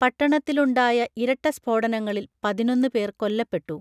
പട്ടണത്തിലുണ്ടായ ഇരട്ട സ്ഫോടനങ്ങളിൽ പതിനൊന്ന് പേർ കൊല്ലപ്പെട്ടു